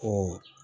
O